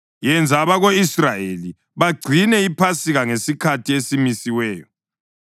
“Yenza abako-Israyeli bagcine iPhasika ngesikhathi esimisiweyo.